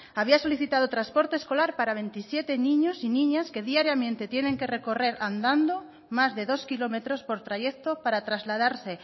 había solicitado transporte escolar para veintisiete niños y niñas que diariamente tienen que recorrer andando más de dos kilómetros por trayecto para trasladarse